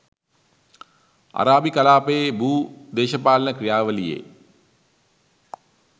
අරාබි කලාපයේ භූ දේශපාලන ක්‍රියාවලියේ